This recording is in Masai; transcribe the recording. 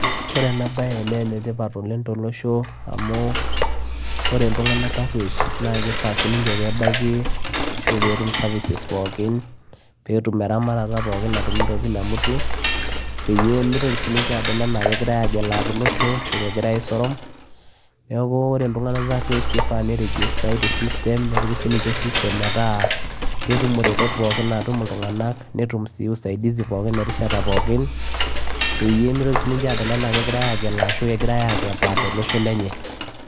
ore ena baye naa enetipat oleng tolosho amu ore iltung'anak tarruesh naa kifaa sininche pebaiki ashu petum services pookin petum eramatata pookin natumito kila mtu peyie mitoki sininche ado enaa kegirae agelaa tolosho ashu kegirae aisorom neku ore iltung'anak tarruesh kifaa nirejestae te system nepiki sininche system metaa ketum iretot pookin natum iltung'anak netum siii usaidizi pookin erishata pookin peyie mitoki sininche adol enaa kegirae agelaa ashu kegirae akepaa tolosho lenye .